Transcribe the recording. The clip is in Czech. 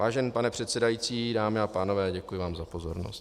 Vážený pane předsedající, dámy a pánové, děkuji vám za pozornost.